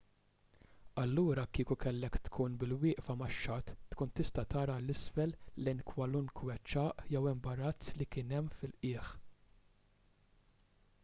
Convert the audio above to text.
allura kieku kellek tkun bil-wieqfa max-xatt tkun tista' tara l isfel lejn kwalunkwe ċagħaq jew imbarazz li kien hemm fil-qiegħ